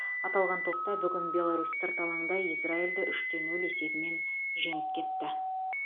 аталған топта бүгін беларусь сырт алаңда израильді үш те нөл есебімен жеңіп кетті